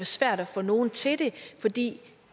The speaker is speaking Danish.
svært at få nogen til det fordi